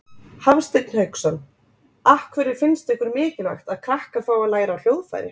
Hafsteinn Hauksson: Af hverju finnst ykkur mikilvægt að krakkar fái að læra á hljóðfæri?